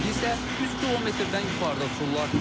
İndi isə 3 kmdən yuxarıda uçurlar.